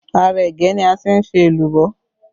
Ara ẹ̀gẹ́ ni a ti ń ṣe èlùbọ́